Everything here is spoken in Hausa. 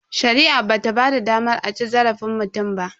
Shari'a bata ba da damar a ci zarafin mutum ba.